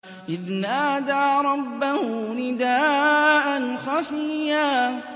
إِذْ نَادَىٰ رَبَّهُ نِدَاءً خَفِيًّا